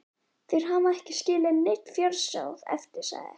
Þeir hafi ekki skilið neinn fjársjóð eftir, sagði